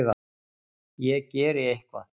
Ég geri eitthvað.